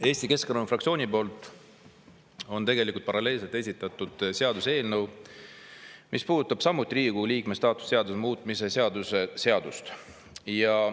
Eesti Keskerakonna fraktsioon on tegelikult paralleelselt esitanud seaduseelnõu, mis puudutab samuti Riigikogu liikme staatuse seaduse muutmist.